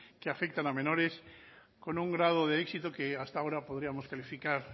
que afectan a menores con un grado de éxito que hasta ahora podríamos calificar